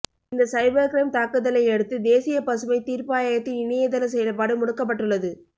இந்த cyber crime தாக்குதலையடுத்து தேசிய பசுமை தீர்பாயத்தின் இணையதள செயல்பாடு முடக்கப்பட்டுள்ளது